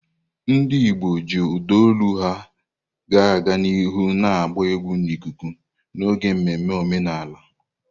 Ndị Igbo ji ụda olu ha ga-aga n'ihu na-agba egwu n'ikuku n'oge mmemme omenala.